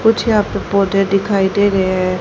कुछ यहां पे पौधे दिखाई दे रहे हैं।